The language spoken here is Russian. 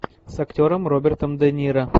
с актером робертом де ниро